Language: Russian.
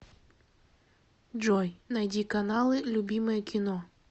джой найди каналы любимое кино